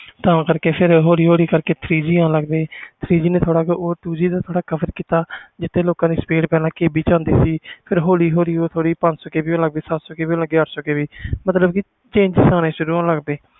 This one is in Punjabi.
ਤਾ ਕਰਕੇ ਹੋਲੀ ਹੋਲੀ three G ਅਣ ਲੱਗ ਗੇ ਨੇ ਥੋੜ੍ਹਾ two G ਨੂੰ cover ਕੀਤਾ ਜਿਥੇ ਲੋਕ ਦੀ two G speed ਚਲਦੀ ਸੀ ਫਿਰ ਹੋਲੀ ਹੋਲੀ ਪੰਜ ਸੋ KB ਸਤ ਸੋ KB ਅੱਠ ਸੋ KB ਮਤਬਲ ਕਿ ਹੋਣੇ ਸ਼ੁਰੂ ਹੋਣ ਲੱਗ ਗਏ